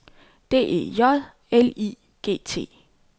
D E J L I G T